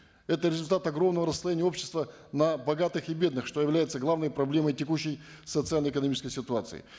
это результат огромного расслоения общества на богатых и бедных что является главной проблемой текущей социально экономической ситуации